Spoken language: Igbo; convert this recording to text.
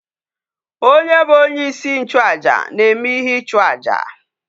Onye bu onye isi nchu aja na eme ihe ichu aja?